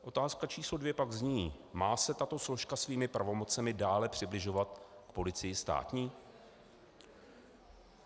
Otázka číslo dvě pak zní: Má se tato složka svými pravomocemi dále přibližovat k policii státní?